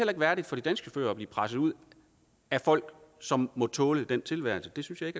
ikke værdigt for de danske chauffører at blive presset ud af folk som må tåle den tilværelse det synes jeg